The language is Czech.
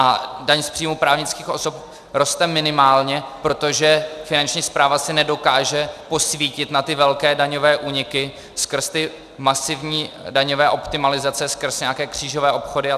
A daň z příjmů právnických osob roste minimálně, protože Finanční správa si nedokáže posvítit na ty velké daňové úniky skrz ty masivní daňové optimalizace, skrz nějaké křížové obchody apod.